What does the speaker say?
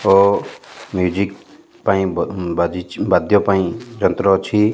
ଓ music ପାଇଁ ବା ବାଜିଛି ବାଦ୍ୟ ପାଇଁ ଯନ୍ତ୍ର ଅଛି।